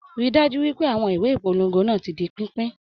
Rí dájú wípé àwọn ìwé ìpolongo náà ti di pínpín.